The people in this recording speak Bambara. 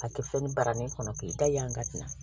A kɛ fɛn barani kɔnɔ k'i da yan ka tɛmɛ